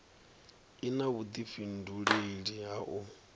i na vhudifhinduleli ha u